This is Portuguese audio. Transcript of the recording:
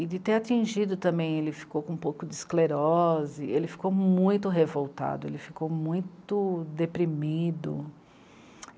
E de ter atingido também, ele ficou com um pouco de esclerose, ele ficou muito revoltado, ele ficou muito deprimido.